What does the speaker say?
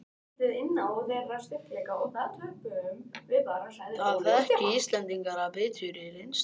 Það þekki Íslendingar af biturri reynslu